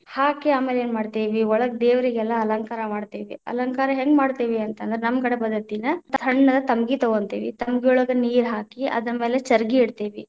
ಹಾಕಿ ಆಮೇಲೆ ಏನ್‌ ಮಾಡತೀವಿ ಒಳಗ್‌ ದೇವ್ರಿಗೆಲ್ಲಾ ಅಲಂಕಾರ ಮಾಡ್ತೇವಿ, ಅಲಂಕಾರ ಹೆಂಗ ಮಾಡ್ತೇವಿ ಅಂತ ಅಂದ್ರ ನಮ್ಮ ಕಡೆ ಪದ್ಧತಿಲ, ಸಣ್ಣ ತಂಬಗಿನ ತಗೊಂತೀವಿ ತಂಬಗಿ ಒಳಗ ನೀರ ಹಾಕಿ ಅದರ ಮೇಲೆ ಚರಗಿ ಇಡ್ತೇವಿ.